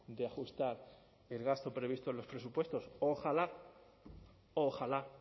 de ajustar el gasto previsto en los presupuestos ojalá ojalá